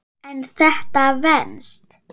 En þetta venst.